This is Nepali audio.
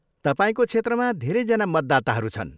तपाईँको क्षेत्रमा धेरैजना मतदाताहरू छन्।